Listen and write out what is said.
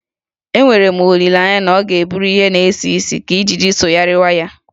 Enwere m olileanye na ọ ga-eburu ihe na-esi isi ka ijiji sogharịwa ya.